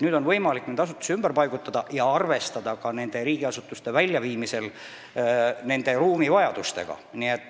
Nüüd on võimalik asutusi ümber paigutada ja arvestada ka riigiasutuste väljaviimisel nende ruumivajadustega.